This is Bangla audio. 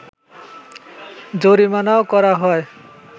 জরিমানাও করা হয়